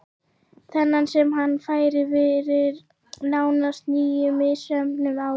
Þennan sem hann fær fyrir nánast níu misheppnuð ár?